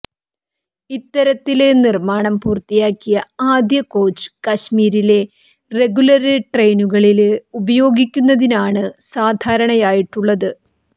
ഇത്തരത്തില് നിര്മാണം പൂര്ത്തിയാക്കിയ ആദ്യ കോച്ച് കശ്മീരിലെ റെഗുലര് ട്രെയിനുകളില് ഉപയോഗിക്കുന്നതിനാണ് ധാരണയായിട്ടുള്ളത്